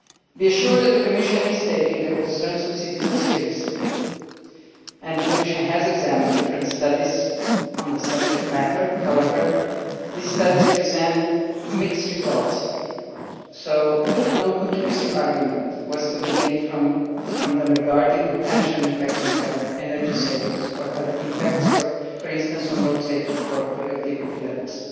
Be assured that the Commission is taking the concerns of citizens seriously. The Commission has examined different studies on the subject matter, but these studies present mixed results and no conclusive argument was to be gained from them regarding potential impacts on health, energy savings or other impacts, for instance on road safety or productivity levels.